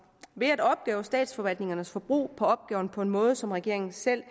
ved at opgøre statsforvaltningernes forbrug på opgaven på en måde som regeringen selv